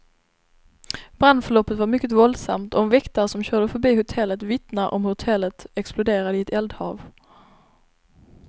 Brandförloppet var mycket våldsamt, och en väktare som körde förbi hotellet vittnar om hur hotellet exploderade i ett eldhav.